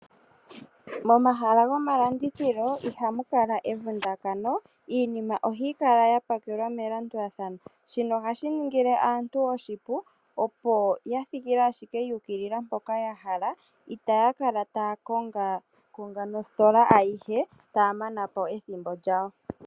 Momahala gomalandithilo ihamu kala evundakano, iinima ohayi kala ya pakelwa melandulathano. Shino ohashi ningile aantu oshilu opo ya thikile ashike mpoka ya hala. Itaya kala taya kongaakonga nositola ayihe taya mana po ethimbo lyawo.